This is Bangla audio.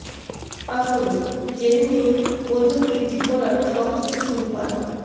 আসুন জেনে নেই ওজন বৃদ্ধি করার সহজ কিছু উপায়ঃ